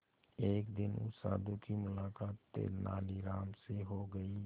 एक दिन उस साधु की मुलाकात तेनालीराम से हो गई